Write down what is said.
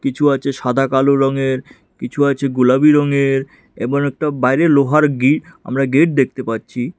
কিছু আছে সাদা কালো রঙের কিছু আছে গোলাবি রঙের এবং একটা বাইরে লোহার গেট আমরা গেট দেখতে পাচ্ছি।